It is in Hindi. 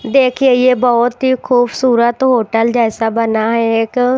देखिए ये बहुत ही खूबसूरत होटल जैसा बना है एक--